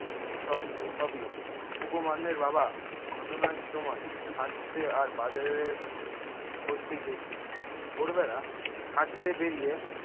সর উম সবই উপমান্যের বাবা ঘটনার সময় হাঁটতে আর বাজারে উম করতে গিয়েছিল। ভোরবেলা হাঁটতে বেরিয়ে